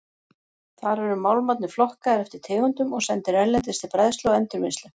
Þar eru málmarnir flokkaðir eftir tegundum og sendir erlendis til bræðslu og endurvinnslu.